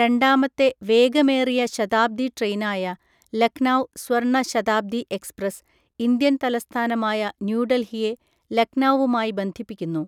രണ്ടാമത്തെ വേഗമേറിയ ശതാബ്ദി ട്രെയിനായ ലക്നൌ സ്വർണ്ണ ശതാബ്ദി എക്സ്പ്രസ്, ഇന്ത്യൻ തലസ്ഥാനമായ ന്യൂഡൽഹിയെ ലക്നൌവുമായി ബന്ധിപ്പിക്കുന്നു.